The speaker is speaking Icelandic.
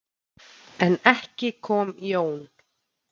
En ekki kom Jón.